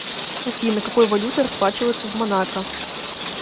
афина какой валютой расплачиваются в монако